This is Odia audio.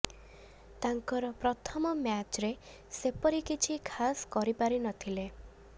ତାଙ୍କର ପ୍ରଥମ ମ୍ୟାଚରେ ସେପରି କିଛି ଖାସ୍ କରି ପାରି ନଥିଲେ